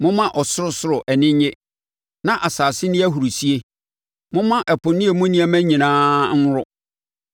Momma ɔsorosoro ani nnye, na asase nni ahurisie; momma ɛpo ne emu nneɛma nyinaa nworo;